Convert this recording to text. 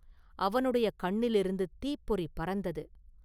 அவனுடைய கண்ணிலிருந்து தீப்பொறி பறந்தது.